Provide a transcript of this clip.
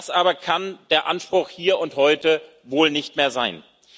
Das aber kann der Anspruch hier und heute wohl nicht mehr sein.